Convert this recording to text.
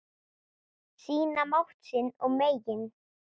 Sýna mátt sinn og megin.